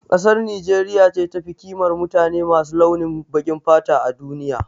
Kasar Nijeriya ce tafi ƙimar mutane masu launin baƙin fata a duniya